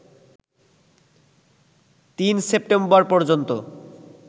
৩ September পর্যন্ত